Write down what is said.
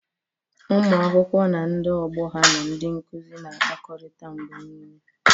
Ụmụ akwụkwọ na ndị ọgbọ ha na ndị nkuzi na-akpakọrịta mgbe niile.